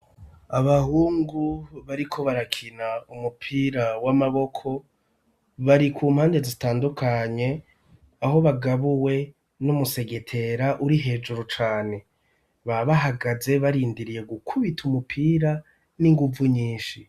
Abahungu bariko barakina ,umupira w'amaboko, bari ku mpande zitandukanye ,aho bagabuwe n'umusegetera uri hejuru cane, ba bahagaze barindiriye gukubita umupira, n'inguvu nyinshi.